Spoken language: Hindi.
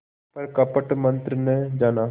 पर कपट मन्त्र न जाना